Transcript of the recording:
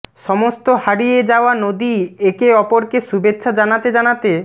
সমস্ত হারিয়ে যাওয়া নদী একে অপরকে শুভেচ্ছা জানাতে জানাতে